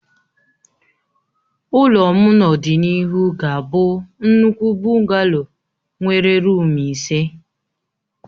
Ụlọ m n'ọdịnihu ga-abụ nnukwu bụngalo nwere ruumu ise